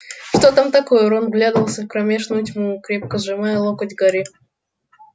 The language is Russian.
что там такое рон вглядывался в кромешную тьму крепко сжимая локоть гарри